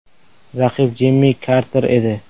Raqib Jimmi Karter edi.